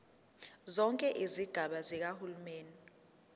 zonke izigaba zikahulumeni